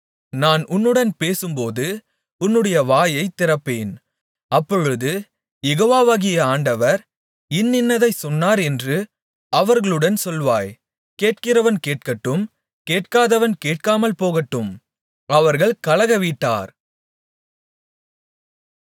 நான் உன்னுடன் பேசும்போது உன்னுடைய வாயைத் திறப்பேன் அப்பொழுது யெகோவாகிய ஆண்டவர் இன்னின்னதைச் சொன்னார் என்று அவர்களுடன் சொல்வாய் கேட்கிறவன் கேட்கட்டும் கேட்காதவன் கேட்காமல் இருக்கட்டும் அவர்கள் கலகவீட்டார்